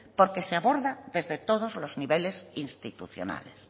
porque se aborda desde todos los niveles institucionales